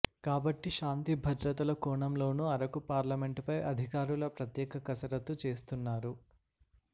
కాబట్టి శాంతిభద్రతల కోణంలోనూ అరకు పార్లమెంటుపై అధికారులు ప్రత్యేక కసరత్తు చేస్తున్నారు